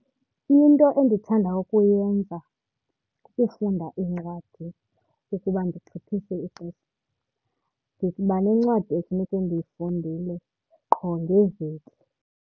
Into endithanda ukuyenza kukufunda iincwadi ukuba ndigqithise ixesha. Ndiba nencwadi ekufuneke ndiyifundile qho ngeveki.